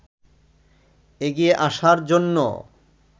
এগিয়ে আসার জন্য